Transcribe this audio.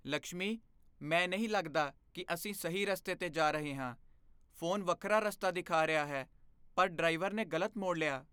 ਲਕਸ਼ਮੀ, ਮੈਂ ਨਹੀਂ ਲੱਗਦਾ ਕਿ ਅਸੀਂ ਸਹੀ ਰਸਤੇ 'ਤੇ ਜਾ ਰਹੇ ਹਾਂ। ਫੋਨ ਵੱਖਰਾ ਰਸਤਾ ਦਿਖਾ ਰਿਹਾ ਹੈ ਪਰ ਡਰਾਈਵਰ ਨੇ ਗ਼ਲਤ ਮੋੜ ਲਿਆ।